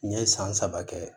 N ye san saba kɛ